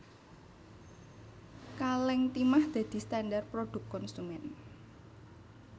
Kalèng timah dadi standar prodhuk konsumén